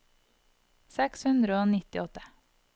seks hundre og nittiåtte